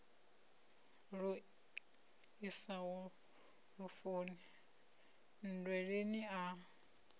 lu isaho lufuni nndweleni a